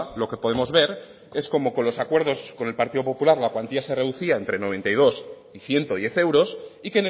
lo que podemos ver es cómo con los acuerdos con el partido popular la cuantía se reducía entre noventa y dos y ciento diez euros y